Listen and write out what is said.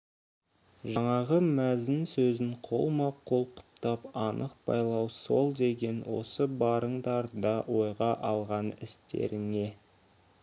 жаңағы мәзін сөзін қолма-қол құптап анық байлау сол деген осы барыңдар да ойға алған істеріңе